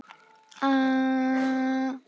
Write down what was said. Blessuð sé minning Einars Mýrdal.